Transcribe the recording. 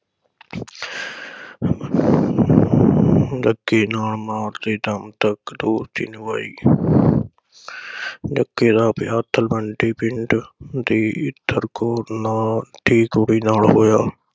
ਜੱਗੇ ਨਾਲ ਮਾਰਦੇ ਦਮ ਤਕ ਰੂਹ ਦੀ ਨਿਬਾਈ । ਜੱਗੇ ਦਾ ਵਿਆਹ ਤਲਵੰਡੀ ਪਿੰਡ ਦੀ ਇੱਤਰ ਕੌਰ ਨਾਲ ਦੀ ਕੁੜੀ ਨਾਲ ਹੋਇਆ।